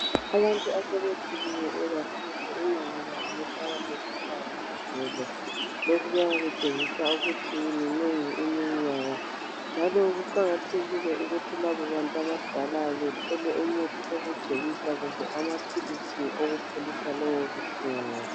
Abantu asebekhulile, inengi labo lihlala likhala ngamadolo, lokhu kuyabe kutshengisa ukuthi minengi iminyaka. Njalo kuqakathekile ukuthi labo bantu abadala bethole umuthi wokugcobisa kumbe amaphilisi wokupholisa lobu buhlungu.